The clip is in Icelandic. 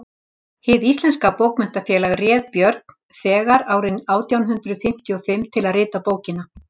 hið íslenska bókmenntafélag réð björn þegar árið átján hundrað fimmtíu og fimm til að rita bókina